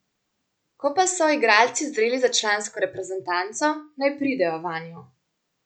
Ko pa so igralci zreli za člansko reprezentanco, naj pridejo vanjo.